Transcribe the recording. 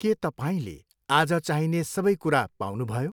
के तपाईँले आज चाहिने सबै कुरा पाउनुभयो?